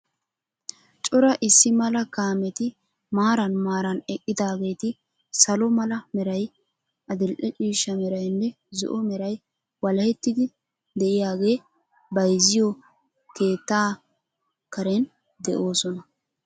Cora issi mala kaameti maaran maaran eqqidaageeti salo mala meray, adil'e ciishsha meraynne zo'o meray walahettidi diyagee bayizziyo keettaa Karen de'oosona.